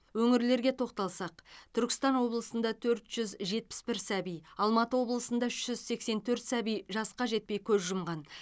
өңірлерге тоқталсақ түркістан облысында төрт жүз жетпіс бір сәби алматы облысында үш жүз сексен төрт сәби жасқа жетпей көз жұмған